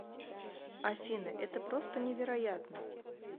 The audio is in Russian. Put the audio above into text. афина это просто невероятно